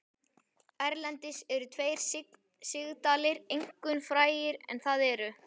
Erlendis eru tveir sigdalir einkum frægir en það eru